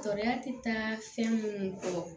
Tɔɔrɔya tɛ taa fɛn minnu kɔ